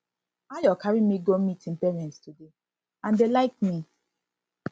ayo carry me go meet im parents today and dey like me